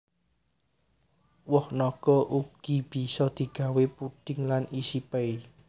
Woh naga uga bisa digawé puding lan isi pay